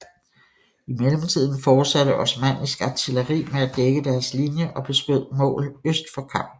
I mellemtiden fortsatte osmannisk artilleri med at dække deres linje og beskød mål øst for Karm